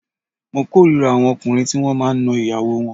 Mo k'órira àwọn ọkùnrin tí wọ́n máa ń na ìyàwó wọn